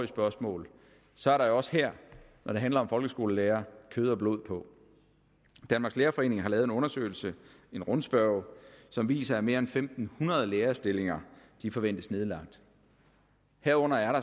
spørgsmål så er der også her når det handler om folkeskolelærere kød og blod på danmarks lærerforening har lavet en undersøgelse en rundspørge som viser at mere end fem hundrede lærerstillinger forventes nedlagt herunder